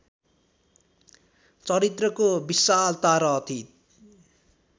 चरित्रको विशालता र अति